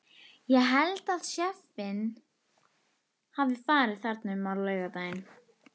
Ég held að séffinn hafi farið þarna um á laugardaginn.